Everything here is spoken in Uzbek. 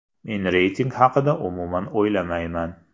Men reyting haqida umuman o‘ylamayman.